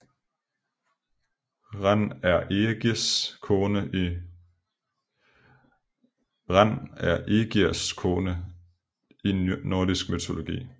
Ran er Ægirs kone i nordisk mytologi